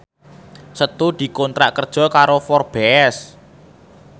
Setu dikontrak kerja karo Forbes